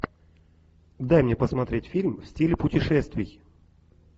дай мне посмотреть фильм в стиле путешествий